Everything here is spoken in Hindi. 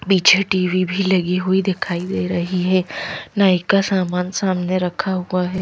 पीछे टी_वी भी लगी हुई दिखाई दे रही है नायि का सामान सामने रखा हुआ है।